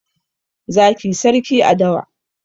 zaki sarki a dawa